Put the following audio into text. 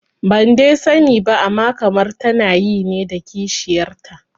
Ban dai sani ba amma kamar tana yi ne da kishiyarta